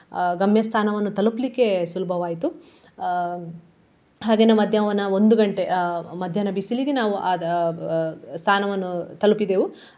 ಗಮ್ಯಸ್ಥಾನವನ್ನು ತಲುಪ್ಲಿಕ್ಕೆ ಸುಲಭವಾಯಿತು. ಅಹ್ ಹಾಗೇನೇ ಮಧ್ಯಾಹ್ನ ಒಂದು ಗಂಟೆ ಆ ಮಧ್ಯಾಹ್ನ ಬಿಸಿಲಿಗೆ ಆದ ಅಹ್ ಸ್ಥಾನವನ್ನು ತಲುಪಿದೆವು.